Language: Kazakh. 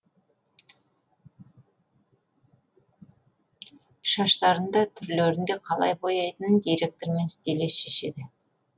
шаштарын да түрлерін де қалай бояйтынын директор мен стилист шешеді